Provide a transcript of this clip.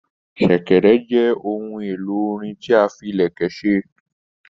Sẹ̀kẹ̀rẹ̀ jẹ ohun èlò orin tí a fí ilẹkẹ ṣe.